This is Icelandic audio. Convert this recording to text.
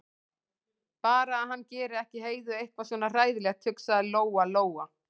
Bara að hann geri ekki Heiðu eitthvað svona hræðilegt, hugsaði Lóa-Lóa.